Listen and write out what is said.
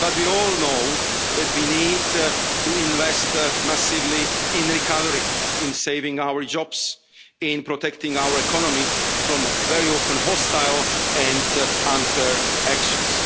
But we all know that we need to invest massively in recovery, in saving our jobs, in protecting our economy from very often hostile and unfair actions.